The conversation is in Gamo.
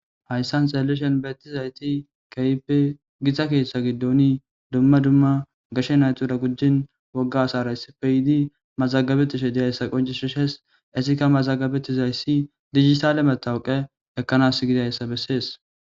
Haysan tseellishan bettiya asati, keehippe githa keeththa giddooni dumma dumma gashi naatu gujjini wogga asara issippe yidi mazaagabettishe de'aysa qonccishishees. Izikka mazaagabettizaysi diijitaale mattoqa ekkanas giddiysa besses.